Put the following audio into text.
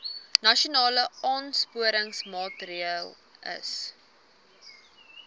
nasionale aansporingsmaatre ls